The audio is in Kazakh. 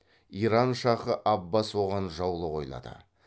иран шахы аббас оған жаулық ойлады